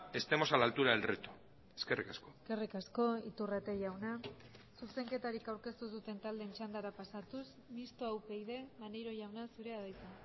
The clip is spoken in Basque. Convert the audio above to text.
estemos a la altura del reto eskerrik asko eskerrik asko iturrate jauna zuzenketarik aurkeztu ez duten taldeen txandara pasatuz mistoa upyd maneiro jauna zurea da hitza